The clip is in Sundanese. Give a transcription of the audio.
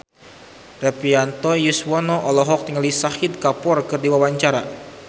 Rektivianto Yoewono olohok ningali Shahid Kapoor keur diwawancara